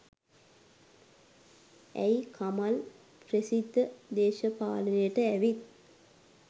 ඇයි කමල් ප්‍රසිද්ධ දේශපාලනයට ඇවිත්